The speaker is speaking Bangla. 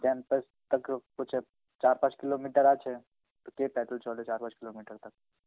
campus থেকেও চার পাঁচ kilometer আছে. তো কে Hindi চলে চার পাঁচ kilometer Hindi?